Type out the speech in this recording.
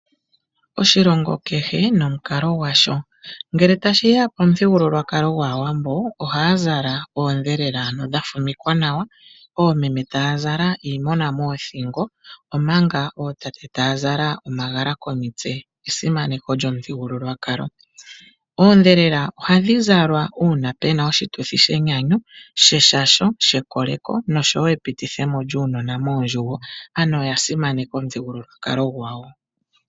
Oshilongo kehe nomukalo gwasho. Ngele tashiya pomuthigululwakalo gwaawambo ohaya zala oondhela ano dha fumikwa nawa oomeme taya zala iimona moothingo omanga ootate taya zala omagala komitse esimaneko lyomuthigululwakalo. Oondhelela ohadhi zalwa uuna pena oshituthi shenyanyu sheshasho shekoleko noshowo epitithemo lyuunona moondjugo. Ano oya simaneka omuthigululwakalo gwawo.